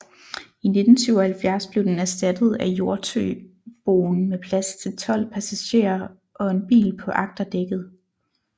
I 1977 blev den erstattet af Hjortøboen med plads til 12 passagerer og en bil på agterdækket